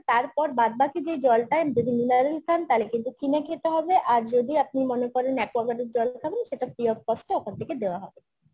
তারপর বাদবাকি যে জলটা যদি mineral খান তাহলে কিন্তু কিনে খেতে হবে আর যদি আপনি মনে করেন aquaguard এর জল দেখাবেন সেটা free of cost এ ওখান থেকে দেওয়া হবে